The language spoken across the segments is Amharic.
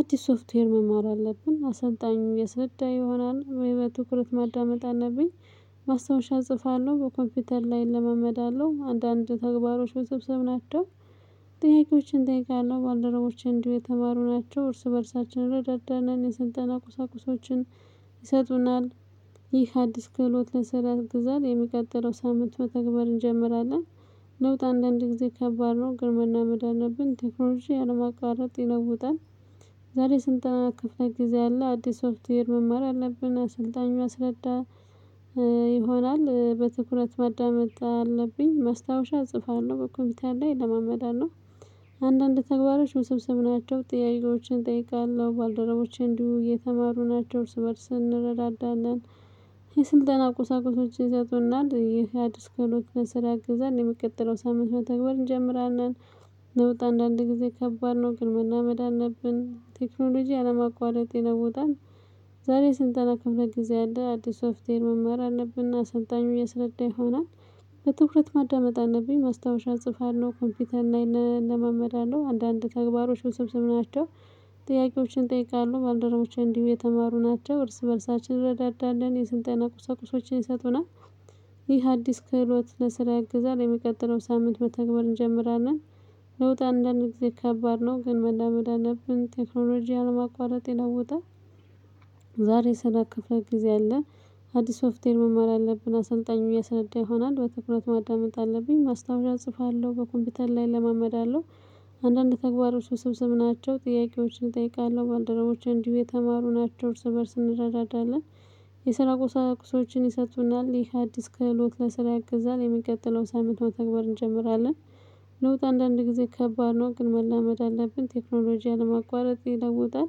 አዲስ ሶፍትዌር መማር አለብን አሰልጣኙ ያስረዳ ይሆናል ወይ? በትኩረት ማዳመጥ አለብኝ። ማስታወሻ እጽፋለሁ በኮምፒውተር ላይ እለማመዳለው አንዳንድ ተግባሮች ውስብሰብ ናቸው። ጥያቄዎችን እጠይቃለሁ ባልደረቦቼ እንዲሁ የተማሩ ናቸው እርስ በእርሳችን እንረዳዳለን የስልጠና ቁሳቁሶችን ይሰጡናል። ይህ አዲስ ክህሎት ለስራ ያግዛል የሚቀጥለው ሳምንት መተግበር እንጀምራለን። ለውጥ አንዳንዴ ጊዜ ከባድ ነው ግን መላመድ አለብን ቴክኖሎጂ ያለማቋረጥ ይለውጣል። ዛሬ የስልጠና ክፍለ ጊዜ አለ አዲስ ሶፍትዌር መማር አለብን አሰልጣኙ ያስረዳል። ይሆናል በትኩረት ማዳመጥ አለብኝ ማስታወሻ እጽፋለሁ በኮምፒውተር ላይ እለማመዳለው። አንዳንድ ተግባሮች ውስብስብ ናቸው ጥያቄዎችን እጠይቃለሁ ባልደረቦቼ እንዲሁ እየተማሩ ናቸው እርስ በእርስ እንረዳዳለን። የስልጣን ቁሳቁሶች ይሰጡናል ይህ አዲስ ክህሎት ለስራ ያግዛል የሚቀጥለው ሳምንት መተግበር እንጀምራለን። ለውጥ አንዳንድ ጊዜ ከባድ ነው ግን መላመድ አለብን ቴክኖሎጂ ያለማቋረጥ ይለውጣል። ዛሬ የስልጠና ከፍለ ጊዜ አለ። አዲስ ሶፍትዌር መማር አለብን እና አሰልጣኙ ያስረዳ ይሆናል። በትኩረት ማዳመጥ አለብኝ ማስታወሻ እጽፋለሁ ኮምፒተር ላይ እለማመዳለሁ አንዳንድ ተግባሮች ውስብስብ ናቸው። ጥያቄዎችን እጠይቃለሁ ባልደረቦቼ እንዲሁ የተማሩ ናቸው እርስ በእርሳችን እንረዳዳለን የስልጠና ቁሳቁሶችን ይሰጡናል። ይህ አዲስ ክህሎት ለስራ ያግዛል የሚቀጥለው ሳምንት መተግበር እንጀምራለን። ለውጥ አንዳንድ ጊዜ ከባድ ነው ግን መላመድ አለብን ቴክኖሎጂ ያለማቋረጥ ይለውጣል። ዛሬ የስልጠና ክፍለ ጊዜ አለ። አዲስ ሶፍትዌር መማር አለብን አሰልጣኙ ያስረዳ ይሆናል በትኩረት ማዳመጥ አለብኝ ማስታወሻ እጽፋለሁ በኮምፒተር ላይ እለማመዳለው። አንዳንድ ተግባሮች ውስብስብ ናቸው ጥያቄዎችን እጠይቃለሁ ባልደረቦቼ እንዲሁ የተማሩ ናቸው እርስ በእርስ እንረዳለን። የስራ ቁሳቁሶችን ይሰጡናል ይህ አዲስ ክህሎት ለስራ ያግዛል የሚቀጥለው ሳምንት መተግበር እንጀምራለን። ለውጥ አንዳንድ ጊዜ ከባድ ነው ግን መላመድ አለብን ቴክኖሎጂ ያለማቋረጥ ይለውጣል።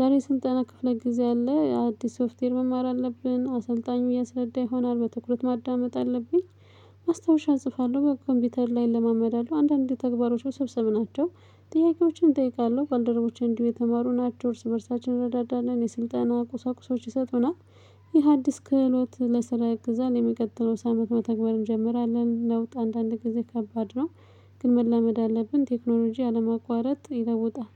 ዛሬ የስልጠና ክፍለ ጊዜ አለ አዲስ ሶፍትዌር መማር አለብን አሰልጣኙ ያስረዳ ይሆናል በትኩረት ማዳመጥ አለብኝ። ማስታወሻ እጽፋለሁ በኮምፒውተር ላይ እለማመዳለሁ አንዳንድ ተግባሮች ውስብስብ ናቸው። ጥያቄዎችን እጠይቃለሁ ባልደረቦችን እንዲሁ የተማሩ ናቸው እርስ በእርሳችን እንረዳዳለን የስልጠና ቁሳቁሶች ይሰጡናል። ይህ አዲስ ክህሎት ለስራ ያግዛል የሚቀጥለው ሳምንት መተግበር እንጀምራለን ለውጥ አንዳንድ ጊዜ ከባድ ነው። ግን መላመድ አለብን ቴክኖሎጂ ያለማቋረጥ ይለውጣል